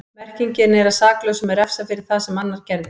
Merkingin er að saklausum er refsað fyrir það sem annar gerði.